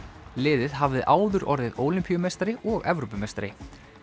liðið hafði áður orðið og Evrópumeistari